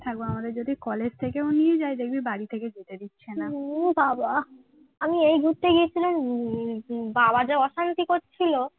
আমি এই ঘুরতে গিয়েছিলাম হম বাবা যা অশান্তি করছিল